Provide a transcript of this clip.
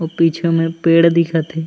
अऊ पीछू में पेड़ दिखत हे।